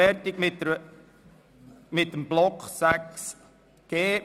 Wir haben den Block 6.g zu Ende beraten.